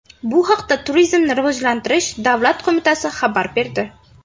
Bu haqda Turizmni rivojlantirish davlat qo‘mitasi xabar berdi.